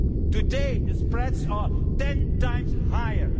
Today the spreads are ten times higher.